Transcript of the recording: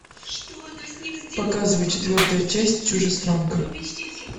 показывай четвертую часть чужестранка